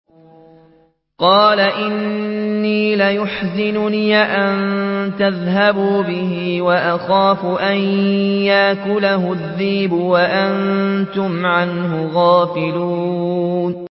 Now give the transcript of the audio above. قَالَ إِنِّي لَيَحْزُنُنِي أَن تَذْهَبُوا بِهِ وَأَخَافُ أَن يَأْكُلَهُ الذِّئْبُ وَأَنتُمْ عَنْهُ غَافِلُونَ